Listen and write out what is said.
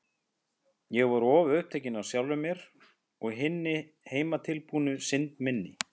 Ég var of upptekin af sjálfri mér og hinni heimatilbúnu synd minni.